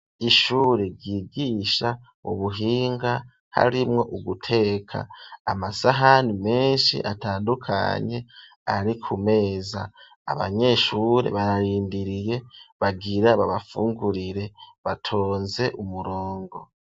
Ishure ryigisha ubuhinga harimwo uguteka . Amasahani menshi atandukanye ari ku meza abanyeshure bararindiriye bagira babafungurire batonze umurongo.